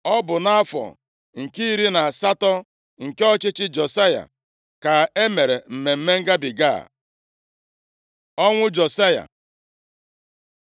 Ọ bụ nʼafọ nke iri na asatọ nke ọchịchị Josaya, ka e mere Mmemme Ngabiga a. Ọnwụ Josaya